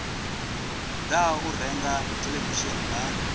ḓaho u renga theḽevishini vha